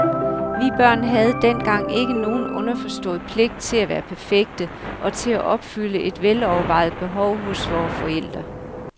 Vi børn havde dengang ikke nogen underforstået pligt til at være perfekte og til at opfylde et velovervejet behov hos vore forældre.